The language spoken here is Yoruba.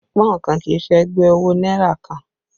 Pọ́ùn kan kì í ṣe ẹgbẹ́ owó náírà kan